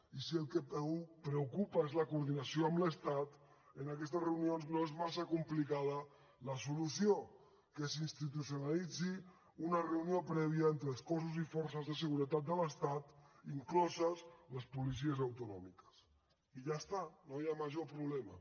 i si el que preocupa és la coordinació amb l’estat en aquestes reunions no és massa complicada la solució que s’institucionalitzi una reunió prèvia entre els cossos i forces de seguretat de l’estat incloses les policies autonòmiques i ja està no hi ha major problema